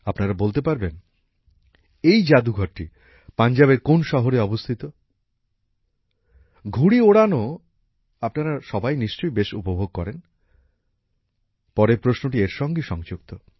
আপনারা বলতে পারবেন এই জাদুঘরটি পাঞ্জাবের কোন শহরে অবস্থিত ঘুড়ি ওড়ানো আপনারা সবাই নিশ্চয়ই বেশ উপভোগ করেন পরের প্রশ্নটি এর সঙ্গেই সংযুক্ত